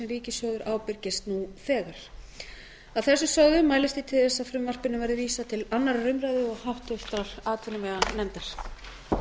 sem ríkissjóður ábyrgist nú þegar að þessu sögðu mælist ég til þess að frumvarpinu verði vísað til annarrar umræðu og háttvirtrar atvinnuveganefndar